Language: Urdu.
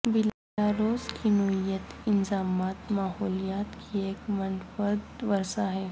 بیلاروس کی نوعیت انضمام ماحولیات کی ایک منفرد ورثہ ہے